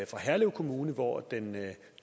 for herlev kommune hvor den